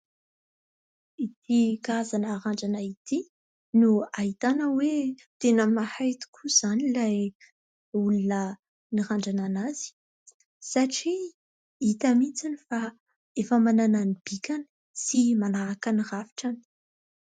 Ity karazana randrana ity no ahitana hoe tena mahay tokoa izany ilay olona nirandrana an'azy satria hita mihitsy fa efa manana ny bikany sy manaraka ny rafitra any.